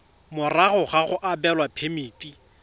morago ga go abelwa phemiti